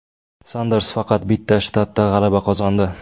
Sanders faqat bitta shtatda g‘alaba qozondi.